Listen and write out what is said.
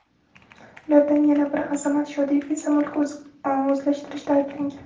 Ulardan yana biri Azamat Shodiyev esa mulk o‘zlashtirishda ayblangan.